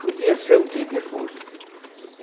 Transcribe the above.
Podia ser o dia que fosse.